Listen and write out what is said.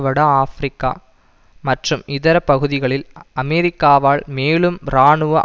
வட ஆபிரிக்கா மற்றும் இதர பகுதிகளில் அமெரிக்காவால் மேலும் இராணுவ